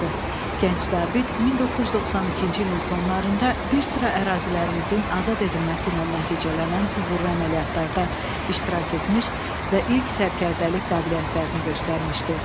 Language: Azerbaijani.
Gənc zabit 1992-ci ilin sonlarında bir sıra ərazilərimizin azad edilməsi ilə nəticələnən uğurlu əməliyyatlarda iştirak etmiş və ilk sərkərdəlik qabiliyyətlərini göstərmişdi.